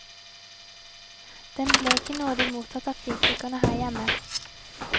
Den ble ikke nådig mottatt av kritikerne her hjemme.